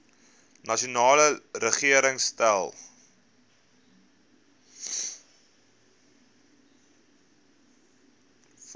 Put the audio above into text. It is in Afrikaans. nasionale regering stel